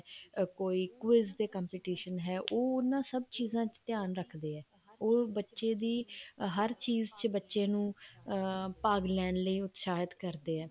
ਕੋਈ quiz ਦਾ competition ਹੈ ਉਹ ਉਹਨਾ ਸਭ ਚੀਜ਼ਾਂ ਚ ਧਿਆਨ ਰੱਖਦੇ ਆ ਉਹ ਬੱਚੇ ਦੀ ਹਰ ਚੀਜ਼ ਚ ਬੱਚੇ ਨੂੰ ਅਮ ਭਾਗ ਲੈਣ ਲਈ ਉਤਸ਼ਾਹਿਤ ਕਰਦੇ ਆ